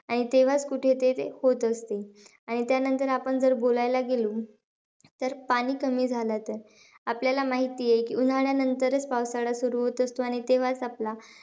आणि तेव्हाचं कुठे ते होत असते. आणि त्यानंतर जर आपण बोलायला गेलो. तर पाणी कमी झालं तर? आपल्याला माहिती आहे की, उन्हाळ्यानंतरचं पावसाळा सुरु होत असतो. आणि तेव्हाचं आपला,